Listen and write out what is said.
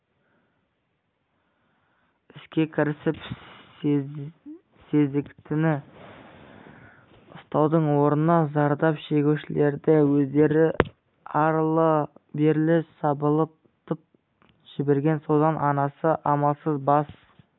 іске кірісіп сезіктіні ұстаудың орнына зардап шегушілердің өздерін арлы-берлі сабылтып жіберген содан анасы амалсыз бас